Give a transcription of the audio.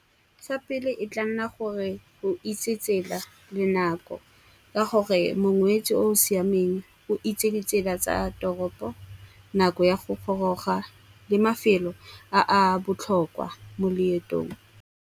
Sa pele, e tla nna gore o itse tsela le nako. Ka gore mongwetsi o o siameng o itse ditsela tsa toropo, nako ya go goroga le mafelo a a botlhokwa mo leetong.